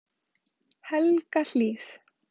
Helgahlíð